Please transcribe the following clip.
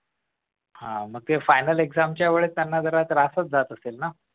हा मग final exam च्या वेळेस त्यांना जरा त्रास जात असेल ना